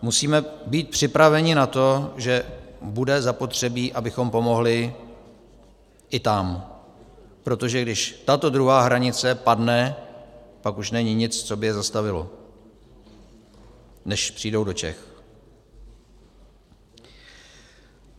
Musíme být připraveni na to, že bude zapotřebí, abychom pomohli i tam, protože když tato druhá hranice padne, pak už není nic, co by je zastavilo, než přijdou do Čech.